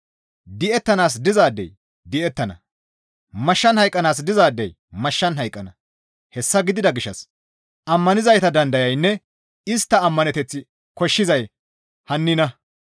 «Di7ettanaas dizaadey di7ettana; mashshan hayqqanaas dizaadey mashshan hayqqana;» hessa gidida gishshas ammanizayta dandayaynne istta ammaneteth koshshizay hannina.